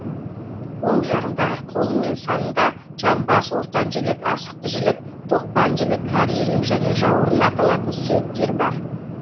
оң жағындағы қолы мен санында жамбас ортан жілік асықты жілік тоқпан жілік кәрі жілік және жауырын аталатын сүйектер бар